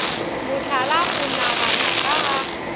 mohlala o nagana ka ga